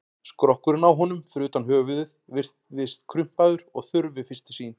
Skrokkurinn á honum, fyrir utan höfuðið, virðist krumpaður og þurr við fyrstu sýn.